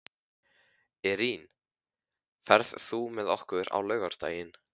Irene, ferð þú með okkur á laugardaginn?